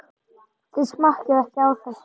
Þið smakkið ekki á þessu!